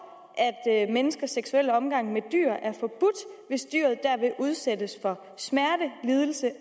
at menneskers seksuelle omgang med dyr er forbudt hvis dyret dermed udsættes for smerte lidelse